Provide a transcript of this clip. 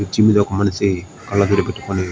bridge మీద ఒక మనిషి కాల్లడాలు పెట్టుకొని --